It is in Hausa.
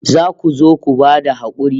Za ku zo ku ba da hakuri